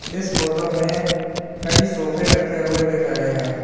इस फोटो में कई सोफे रखे हुए दिख रहे हैं।